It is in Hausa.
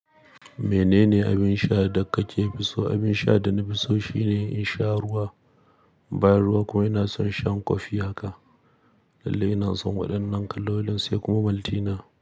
Menene abin sha da kake fi so? Abin sha da na fi so shine in sha ruwa, bayan ruwa kuma ina son shan kofi haka. Lallai ina son waɗannan kalolin sai kuma maltina.